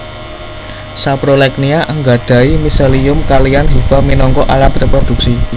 Saprolegnia nggadhahi miselium kaliyan hifa minangka alat réprodhuksi